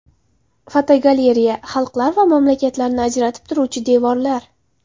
Fotogalereya: Xalqlar va mamlakatlarni ajratib turuvchi devorlar.